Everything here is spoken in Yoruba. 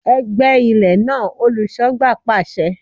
Gbẹ ilẹ̀ náà! Olùṣọ́gbà pàṣẹ.